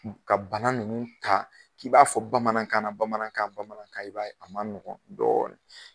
Ka bana ninnu ka k'i b'a fɔ bamanankan na bamanankan bamanankan i b'a ye a ma nɔgɔn dɔɔn